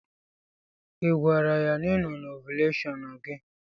Ị gwara ya na ị no na ovuleshon gi?